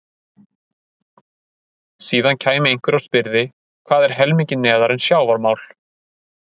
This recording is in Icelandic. Síðan kæmi einhver og spyrði: Hvað er helmingi neðar en sjávarmál?